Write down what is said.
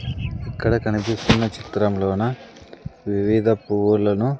ఇక్కడ కనిపిస్తున్న చిత్రంలోన వివిధ పువ్వులను--